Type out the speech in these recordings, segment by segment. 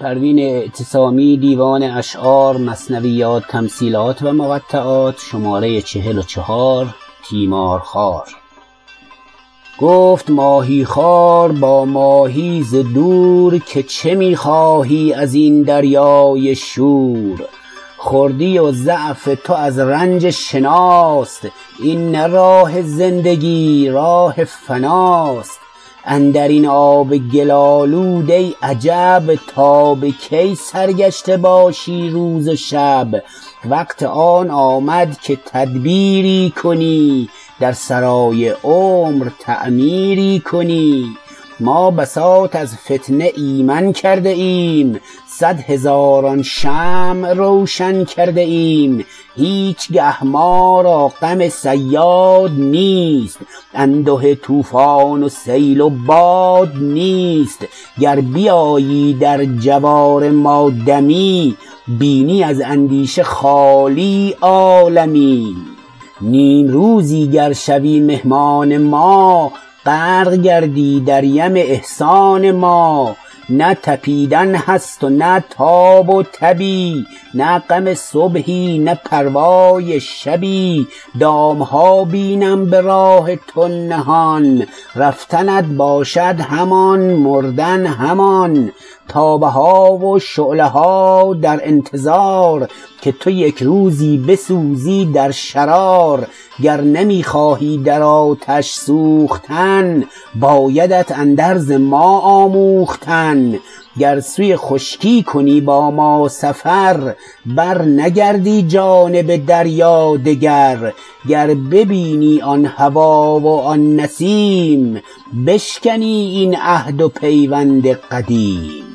گفت ماهیخوار با ماهی ز دور که چه میخواهی ازین دریای شور خردی و ضعف تو از رنج شناست این نه راه زندگی راه فناست اندرین آب گل آلود ای عجب تا بکی سرگشته باشی روز و شب وقت آن آمد که تدبیری کنی در سرای عمر تعمیری کنی ما بساط از فتنه ایمن کرده ایم صد هزاران شمع روشن کرده ایم هیچگه ما را غم صیاد نیست انده طوفان و سیل و باد نیست گر بیایی در جوار ما دمی بینی از اندیشه خالی عالمی نیمروزی گر شوی مهمان ما غرق گردی در یم احسان ما نه تپیدن هست و نه تاب و تبی نه غم صبحی نه پروای شبی دامها بینم براه تو نهان رفتنت باشد همان مردن همان تابه ها و شعله ها در انتظار که تو یکروزی بسوزی در شرار گر نمی خواهی در آتش سوختن بایدت اندرز ما آموختن گر سوی خشکی کنی با ما سفر بر نگردی جانب دریا دگر گر ببینی آن هوا و آن نسیم بشکنی این عهد و پیوند قدیم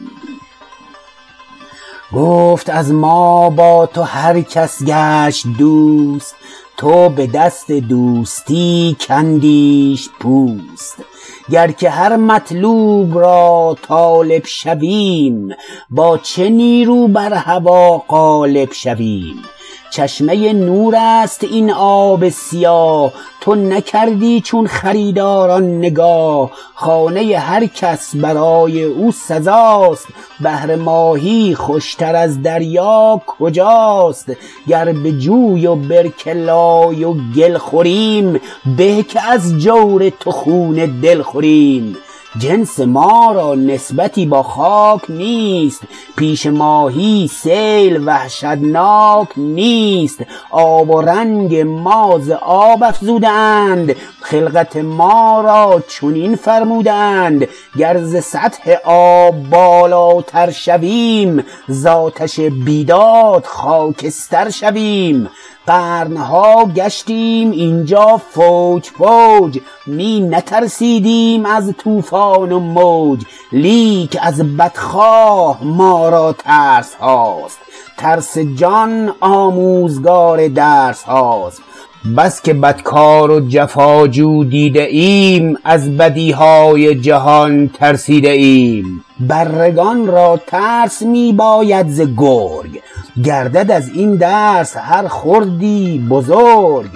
گفت از ما با تو هر کس گشت دوست تو بدست دوستی کندیش پوست گر که هر مطلوب را طالب شویم با چه نیرو بر هوی غالب شویم چشمه نور است این آب سیاه تو نکردی چون خریداران نگاه خانه هر کس برای او سزاست بهر ماهی خوشتر از دریا کجاست گر بجوی و برکه لای و گل خوریم به که از جور تو خون دل خوریم جنس ما را نسبتی با خاک نیست پیش ماهی سیل وحشتناک نیست آب و رنگ ما ز آب افزوده اند خلقت ما را چنین فرموده اند گر ز سطح آب بالاتر شویم زاتش بیداد خاکستر شویم قرنها گشتیم اینجا فوج فوج می نترسیدیم از طوفان و موج لیک از بدخواه ما را ترسهاست ترس جان آموزگار درسهاست بسکه بدکار و جفا جو دیده ام از بدیهای جهان ترسیده ایم بره گان را ترس میباید ز گرگ گردد از این درس هر خردی بزرگ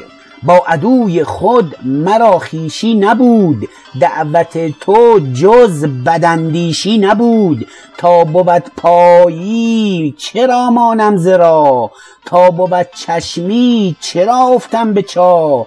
با عدوی خود مرا خویشی نبود دعوت تو جز بداندیشی نبود تا بود پایی چرا مانم ز راه تا بود چشمی چرا افتم به چاه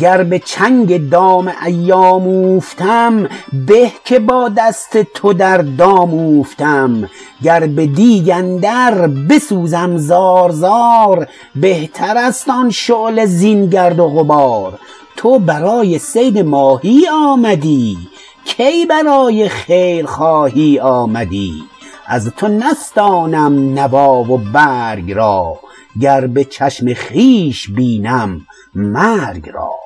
گر بچنگ دام ایام اوفتم به که با دست تو در دام اوفتم گر بدیگ اندر بسوزم زار زار بهتر است آن شعله زین گرد و غبار تو برای صید ماهی آمدی کی برای خیر خواهی آمدی از تو نستانم نوا و برگ را گر بچشم خویش بینم مرگ را